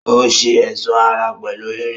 Ó ṣe ẹ̀sọ́ ara pẹ̀lú irin